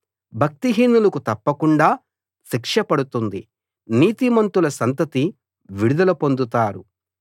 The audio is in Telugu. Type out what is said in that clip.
భక్తిహీనులకు తప్పకుండా శిక్ష పడుతుంది నీతిమంతుల సంతతి విడుదల పొందుతారు